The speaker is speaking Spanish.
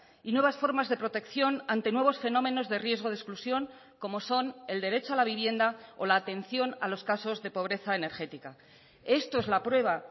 y nuevas formas de protección ante nuevos fenómenos de riesgo de exclusión como son el derecho a la vivienda o la atención a los casos de pobreza energética esto es la prueba